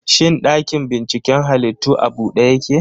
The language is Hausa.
Shin ɗakin binciken halittu a bude yake?